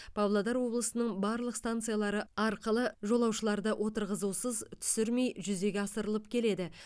павлодар облысының барлық станциялары арқылы жолаушыларды отырғызусыз түсірмей жүзеге асырылып келеді